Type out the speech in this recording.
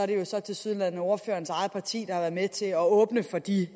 det så tilsyneladende er ordførerens eget parti der har været med til at åbne for de